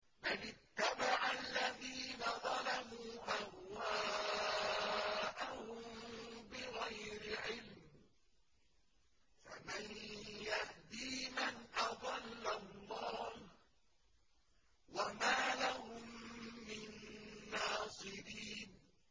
بَلِ اتَّبَعَ الَّذِينَ ظَلَمُوا أَهْوَاءَهُم بِغَيْرِ عِلْمٍ ۖ فَمَن يَهْدِي مَنْ أَضَلَّ اللَّهُ ۖ وَمَا لَهُم مِّن نَّاصِرِينَ